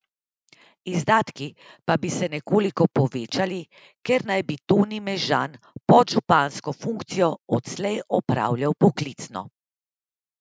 Izdatki pa bi se nekoliko povečali, ker naj bi Toni Mežan podžupansko funkcijo odslej opravljal poklicno.